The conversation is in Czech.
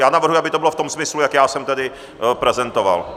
Já navrhuji, aby to bylo v tom smyslu, jak já jsem tady prezentoval.